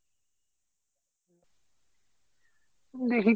দেখি।